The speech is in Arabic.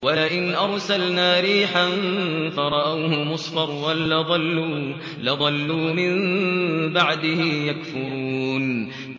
وَلَئِنْ أَرْسَلْنَا رِيحًا فَرَأَوْهُ مُصْفَرًّا لَّظَلُّوا مِن بَعْدِهِ يَكْفُرُونَ